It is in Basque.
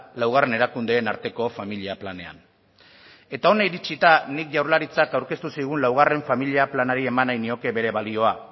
laugarren erakundeen arteko familia planean eta hona iritsita nik jaurlaritzak aurkeztu zigun laugarren familia planari eman nahi nioke bere balioa